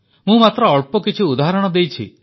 ମୁଁ ମାତ୍ର ଅଳ୍ପ କିଛି ଉଦାହରଣ ଦେଇଛି